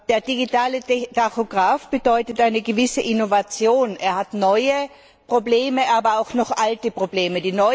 Der digitale Tachograf bedeutet eine gewisse Innovation, er hat neue, aber auch noch alte Probleme.